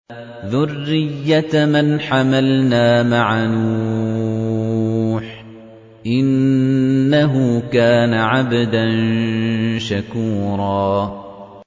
ذُرِّيَّةَ مَنْ حَمَلْنَا مَعَ نُوحٍ ۚ إِنَّهُ كَانَ عَبْدًا شَكُورًا